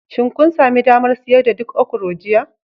Shin kun sami damar siyar da duk okro jiya?